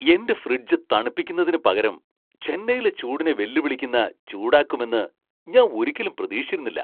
എന്റെ ഫ്രിഡ്ജ് തണുപ്പിക്കുന്നതിനുപകരം ചെന്നൈയിലെ ചൂടിനെ വെല്ലുവിളിക്കുന്ന ചൂടാക്കുമെന്ന് ഞാൻ ഒരിക്കലും പ്രതീക്ഷിച്ചിരുന്നില്ല!